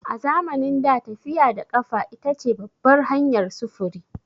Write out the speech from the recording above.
A zamanin da, tafiya da ƙafa ita ce babbar hanyar sufuri.